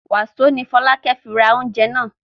Wàsó ni Fọlákẹ́ fi ra oúnjẹ náà?